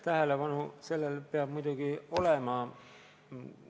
Tähelepanu sellele peab muidugi olema.